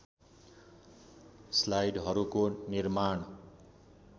स्लाइडहरूको निर्माण